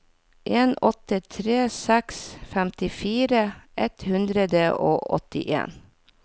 en åtte tre seks femtifire ett hundre og åttien